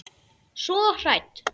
Svo hrædd.